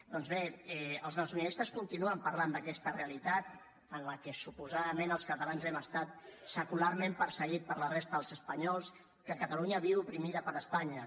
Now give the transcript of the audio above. doncs bé els nacionalistes continuen parlant d’aquesta realitat en la que suposadament els catalans hem estat secularment perseguits per la resta dels espanyols que catalunya viu oprimida per espanya